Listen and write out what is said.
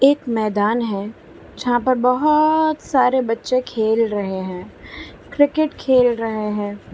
मैदान है जहां पर बहोत सारे बच्चे खेल रहे हैं क्रिकेट खेल रहे है।